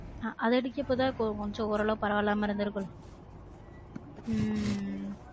அது அடிக்குரப்ப தான் கொஞ்சம் ஓரளவுக்கு பரவா இல்லாம இருந்துருக்கும் உம் உம்